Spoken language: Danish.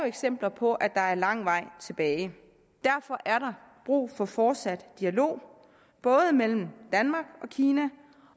eksempler på at der er lang vej igen derfor er der brug for fortsat dialog både mellem danmark og kina